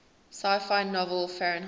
sci fi novel fahrenheit